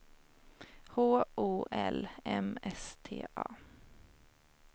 H O L M S T A